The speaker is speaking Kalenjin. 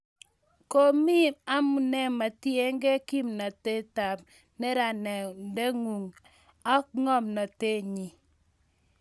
Komie amune metiegei kimnatetab neranandingung ak ngomnotetnyi